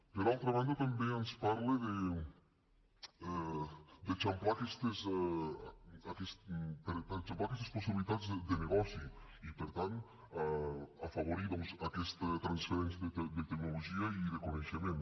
per altra banda també ens parla d’eixamplar aquestes possibilitats de negoci i per tant afavorir doncs aquesta transferència de tecnologia i de coneixement